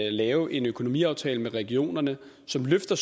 at lave en økonomiaftale med regionerne som løfter